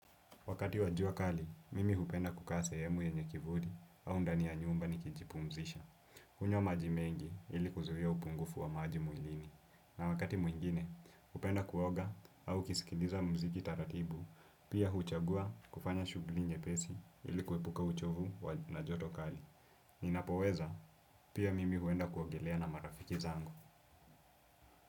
Wakati wajua kali, mimi hupenda kukaa sehemu yenye kivuli au ndani ya nyumba ni kijipu mzisha. Kunywa maji mengi ili kuzuia upungufu wa maji mwilini. Na wakati mwingine, hupenda kuoga au kisikiliza mziki taratibu, pia huchagua kufanya shughulinye pesi ili kuepuka uchovu na joto kali. Ninapo weza, pia mimi huenda kuogelea na marafiki zangu.